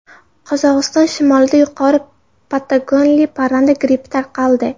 Qozog‘iston shimolida yuqori patogenli parranda grippi tarqaldi.